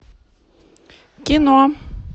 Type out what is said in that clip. кино